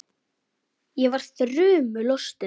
Ég var þrumu lostin.